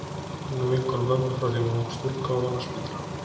Hún er vinkona mömmu frá því hún var ung stúlka og vann á spítalanum.